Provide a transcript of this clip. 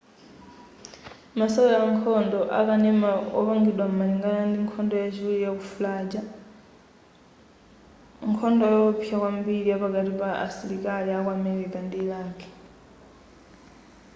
masewera ankhondo akanema opangidwa malingana ndi nkhondo yachiwiri yaku fallujar nkhondo yowopsa kwambiri yapakati pa asilikali aku america ndi iraq